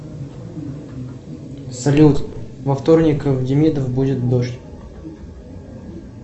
салют во вторник в демидов будет дождь